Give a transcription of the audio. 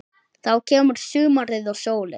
Þá kemur sumarið og sólin.